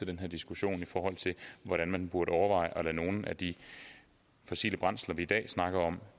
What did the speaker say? den her diskussion i forhold til hvordan man burde overveje at lade nogle af de fossile brændsler vi i dag snakker om